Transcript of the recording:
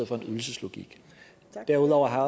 for en ydelseslogik derudover har